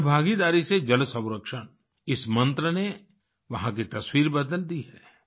अब जन भागीदारी से जल संरक्षण इस मंत्र ने वहाँ की तस्वीर बदल दी है